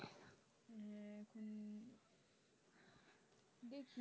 হম দেখি